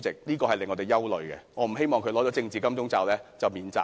這點是令我們憂慮的，我不希望他拿到"政治金鐘罩"便可免責。